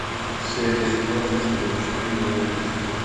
серия семнадцать сезон четыре манифест